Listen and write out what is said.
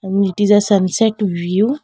mm it is a sunset view.